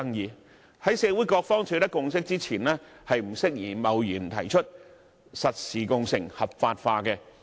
因此，在社會各方取得共識前，香港並不適宜貿然提出實時共乘合法化。